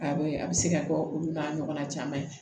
A bɛ a bɛ se ka kɛ olu n'a ɲɔgɔnna caman ye